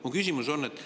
Mu küsimus on see.